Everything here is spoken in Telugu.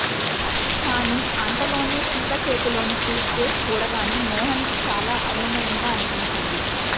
కానీ అంతలోనే సీత చేతిలోని సూట్ కేస్ చూడగానే మోహన్ కి చాలా అయోమయంగా అనిపించింది